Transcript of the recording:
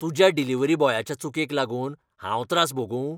तुज्या डिलिव्हरी बॉयाच्या चुकेक लागून हांव त्रास भोगूं?